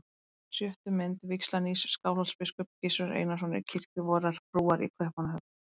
Á sjöttu mynd: vígsla nýs Skálholtsbiskups, Gizurar Einarssonar, í kirkju vorrar frúar í Kaupmannahöfn.